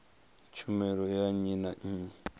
tshumelo ya nnyi na nnyi